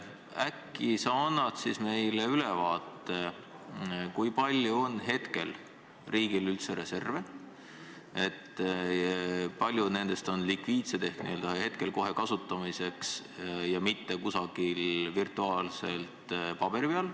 Äkki sa annad meile ülevaate sellest, kui palju on riigil hetkel üldse reserve ning kui suur osa neist on likviidsed ehk kohe kasutamiseks, mitte kusagil virtuaalselt või paberi peal.